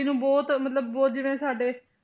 ਜੀ ਨੂੰ ਬਹੁਤ ਮਤਲਬ ਬਹੁਤ ਜਿਵੇਂ ਸਾਡੇ